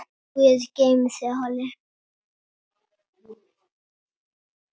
Guð geymi þig, Halli.